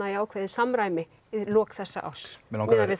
í ágætis samræmi í lok þessa árs miðað við